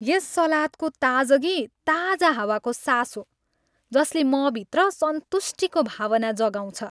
यस सलादको ताजगी ताजा हावाको सास हो जसले मभित्र सन्तुष्टिको भावना जगाउँछ।